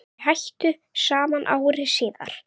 Þau hættu saman ári síðar.